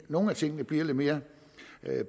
nogle af tingene bliver lidt mere